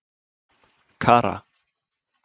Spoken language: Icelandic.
Kara